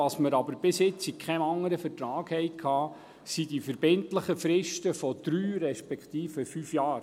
Was wir bisher aber in keinem anderen Vertrag hatten, sind die verbindlichen Fristen von drei respektive fünf Jahren.